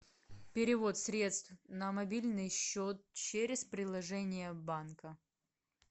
перевод средств на мобильный счет через приложение банка